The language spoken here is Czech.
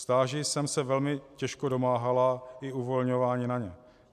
Stáží jsem se velmi těžko domáhala a uvolňování na ně.